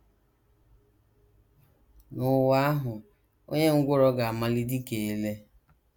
* N’ụwa ahụ, “ onye ngwụrọ ga - amali dị ka ele. ”